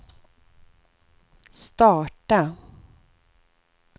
starta